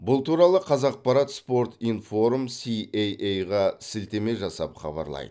бұл туралы қазақпарат спортинформ си эй эй ға сілтеме жасап хабарлайды